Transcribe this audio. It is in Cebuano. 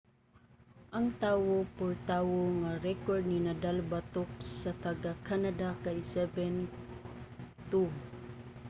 ang tawo-por-tawo nga rekord ni nadal batok sa taga-canada kay 7-2